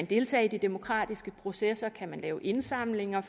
deltage i de demokratiske processer kan lave indsamlinger